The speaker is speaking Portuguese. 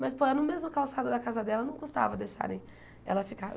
Mas, pô, era na mesma calçada da casa dela, não custava deixarem ela ficar.